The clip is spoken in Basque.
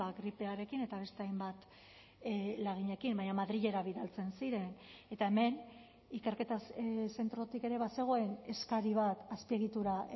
gripearekin eta beste hainbat laginekin baina madrilera bidaltzen ziren eta hemen ikerketa zentrotik ere bazegoen eskari bat azpiegitura